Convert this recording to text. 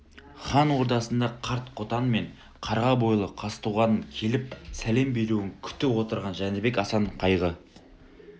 хан ордасында қарт қотан мен қарға бойлы қазтуғанның келіп сәлем беруін күтіп отырған жәнібек асан қайғы